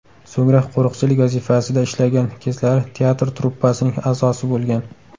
So‘ngra qo‘riqchilik vazifasida ishlagan kezlari teatr truppasining a’zosi bo‘lgan.